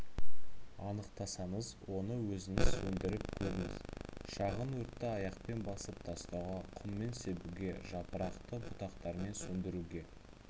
анықтасаңыз оны өзіңіз сөндіріп көріңіз шағын өртті аяқпен басып тастауға құммен себуге жапырақты бұтақтармен сөндіруге